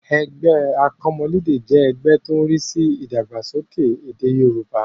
Ẹgbẹ́ akọ́mọlédè jẹ́ ẹgbẹ́ tó ń rí sí ìdàgbàsókè èdè Yorùbá